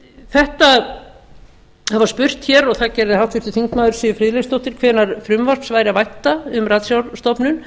það var spurt og það gerði háttvirtur þingmaður siv friðleifsdóttir hvenær frumvarps væri að vænta um ratsjárstofnun